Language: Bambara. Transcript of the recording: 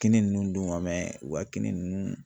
Kini ninnu dun wa u ka kini ninnu.